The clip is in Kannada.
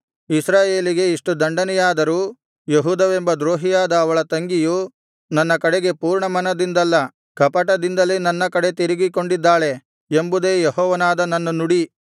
ಇಸ್ರಾಯೇಲಿಗೆ ಇಷ್ಟು ದಂಡನೆಯಾದರೂ ಯೆಹೂದವೆಂಬ ದ್ರೋಹಿಯಾದ ಅವಳ ತಂಗಿಯು ನನ್ನ ಕಡೆಗೆ ಪೂರ್ಣಮನದಿಂದಲ್ಲ ಕಪಟದಿಂದಲೇ ನನ್ನ ಕಡೆ ತಿರುಗಿಕೊಂಡಿದ್ದಾಳೆ ಎಂಬುದೇ ಯೆಹೋವನಾದ ನನ್ನ ನುಡಿ